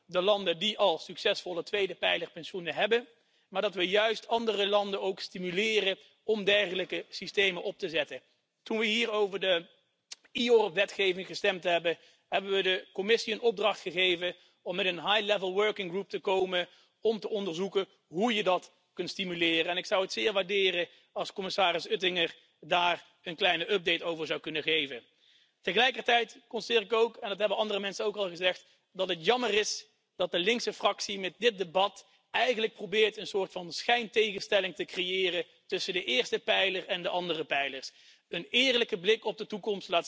Die sagen, dass das eine bösartige Art von Privatisierung sei. Nein, das ist es nicht! Das ist einfach ein weiteres Angebot an die Bürger, sich besser abzusichern in Zeiten, in denen das Umlageverfahren an die Grenzen seiner Leistungsfähigkeit gestoßen ist. Man muss ja sehen, dass nicht nur die demografische Entwicklung das Umlageverfahren gefährdet. Man muss nicht nur sehen, dass die Erhöhung der Lebenserwartung das Umlageverfahren weiter strapaziert, jedenfalls dann, wenn wir nicht gleichzeitig auch noch das Renteneintrittsalter erhöhen. Es kommt ja als weiteres Problem hinzu, dass das Umlageverfahren eigentlich in seiner Fundierung als Element des Generationenvertrags eine Versicherung gegen ungewollte Kinderlosigkeit